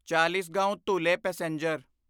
Chalisgaon Dhule passenger